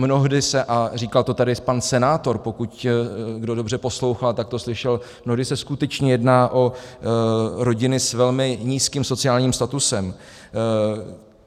Mnohdy se - a říkal to tady pan senátor, pokud někdo dobře poslouchal, tak to slyšel - mnohdy se skutečně jedná o rodiny s velmi nízkým sociálním statusem.